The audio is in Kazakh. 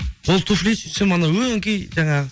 ол туфли сөйтсем анау өңкей жаңағы